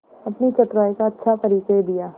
अपनी चतुराई का अच्छा परिचय दिया